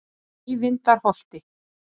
Eyvindarholti